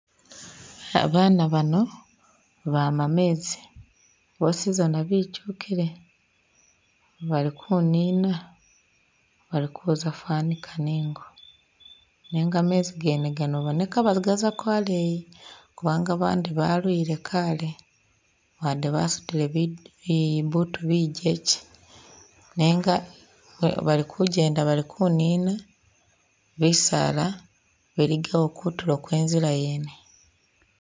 Ba bana bano bama mezi bwosizana bitukile bali kunina bali kuza fanikana ingo nenga mezi gene gano baboneka bagazako aleeyi kubanga bandi balwile kale wade basudile bibutu bijekye nenga bali kujenda bali kunina bisaala biligawo kutulo kwe nzila yene.